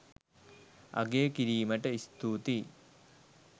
අගය කිරීමට ස්තුතියි